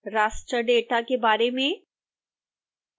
raster data के बारे में